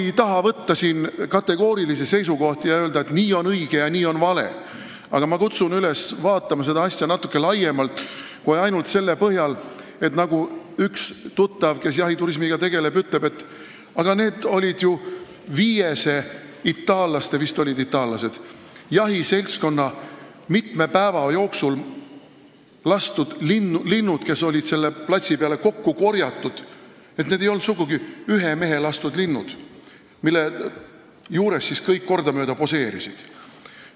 Ma ei taha võtta siin kategoorilisi seisukohti ja öelda, et nii on õige ja nii on vale, aga ma kutsun üles vaatama seda asja natuke laiemalt kui ainult selle põhjal, mille kohta üks minu tuttav, kes jahiturismiga tegeleb, ütles, et need olid ju viiese itaallaste jahiseltskonna mitme päeva jooksul lastud linnud, mis olid selle platsi peale kokku korjatud, need ei olnud sugugi ühe mehe lastud linnud, mille juures kõik kordamööda poseerisid.